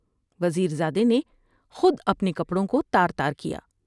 وزیر زادے نے خود اپنے کپڑوں کو تار تار کیا ۔